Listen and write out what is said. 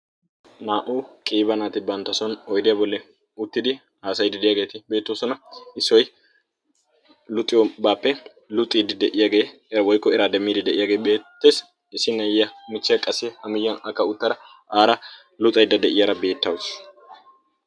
naa''u qiiba naati bantta son oyddiyaa bolli uttidi asayi didiyaageeti beettoosona issoy luxiobaappe luxiidi de'iyaagee era woykko era demmiidi de'iyaagee beetteessi issi naayiya michche qasse ha miyiyan akka uttara aara luxaydda de'iyaara beettawusu